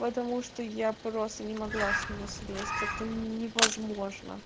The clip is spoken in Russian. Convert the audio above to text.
потому что я просто не могла с него слезть это невозможно